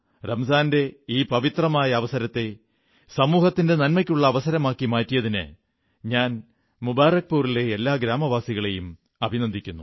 റംസാന്റെ ഈ പവിത്രമായ അവസരത്തെ സമൂഹത്തിന്റെ നന്മയ്ക്കുള്ള അവസരമാക്കി മാറ്റിയതിന് ഞാൻ മുബാറക്പുരിലെ എല്ലാ ഗ്രാമവാസികളെയും അഭിനന്ദിക്കുന്നു